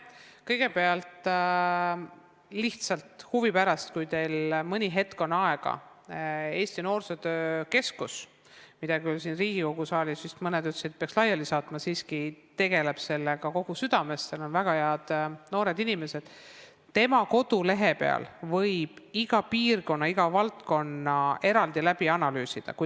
Kõigepealt ütlen, et kui teil on mõni hetk aega, siis Eesti Noorsootöö Keskuse kodulehel võib lihtsalt huvi pärast iga piirkonna – kui teil on huvi mingi maakonna vastu – ja iga valdkonna eraldi läbi analüüsida.